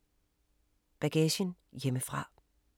Bagagen hjemmefra